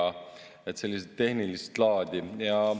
Nii et olid sellised tehnilist laadi.